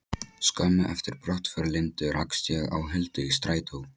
Skömmu eftir brottför Lindu rakst ég á Huldu í strætó.